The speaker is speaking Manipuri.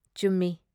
ꯆꯨꯝꯃꯤ ꯫